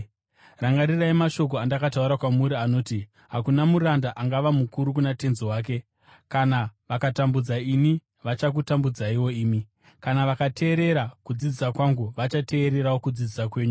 Rangarirai mashoko andakataura kwamuri anoti, ‘Hakuna muranda angava mukuru kuna tenzi wake.’ Kana vakatambudza ini, vachakutambudzaiwo imi. Kana vakateerera kudzidzisa kwangu, vachateererawo kudzidzisa kwenyu.